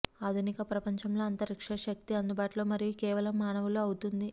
ఆధునిక ప్రపంచంలో అంతరిక్ష శక్తి అందుబాటులో మరియు కేవలం మానవులు అవుతుంది